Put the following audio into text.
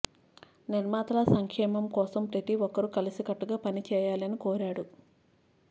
నిర్మాతల సంక్షేమం కోసం ప్రతి ఒక్కరు కలసికట్టుగా పని చేయాలని కోరాడు